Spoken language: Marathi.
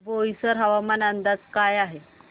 बोईसर हवामान अंदाज काय आहे